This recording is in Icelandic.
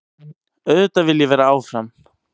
Auðvitað vil ég vera áfram.